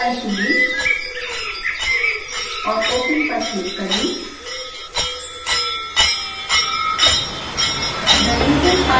firstorder file चुनें और open पर क्लिक करें